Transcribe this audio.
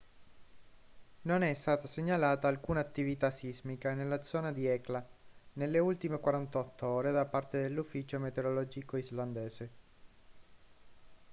non è stata segnalata alcuna attività sismica nella zona di hekla nelle ultime 48 ore da parte dell'ufficio meteorologico islandese